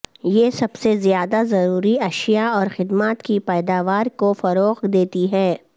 یہ سب سے زیادہ ضروری اشیاء اور خدمات کی پیداوار کو فروغ دیتی ہے